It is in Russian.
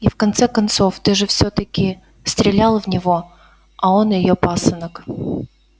и в конце-то концов ты же всё-таки стрелял в него а он её пасынок